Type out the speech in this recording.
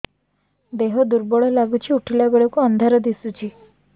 ଦେହ ଦୁର୍ବଳ ଲାଗୁଛି ଉଠିଲା ବେଳକୁ ଅନ୍ଧାର ଦିଶୁଚି